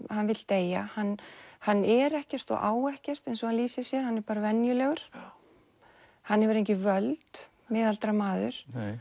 hann vill deyja hann hann er ekkert og á ekkert eins og hann lýsir sér hann er bara venjulegur hann hefur engin völd miðaldra maður